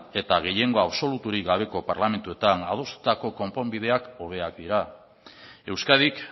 eta gehiengo absoluturik gabeko parlamentuetan adostutako konponbideak hobeak dira euskadik